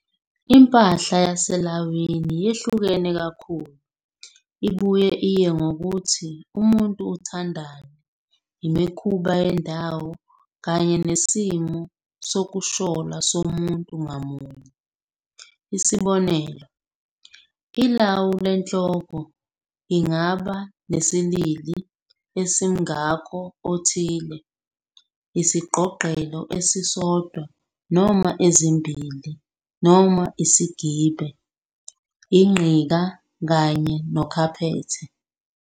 Impahla yaselawini yehluke kakhulu, ibuye iye ngokuthi umuntu uthandani, imikhuba yendawo, kanye nesimo sokushola somuntu ngamunye. Isibonelo, ilawu lenhloko lngaba nesiLili esimngako othile, isigqogqelo esisodwa noma ezimbhili, noma isigibe, inqika, kanye nokhaphethe.